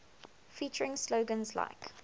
featuring slogans like